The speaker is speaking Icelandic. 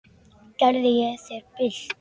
Gerði ég þér bylt við?